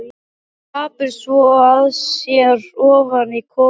Hún gapir svo að sér ofan í kok á henni.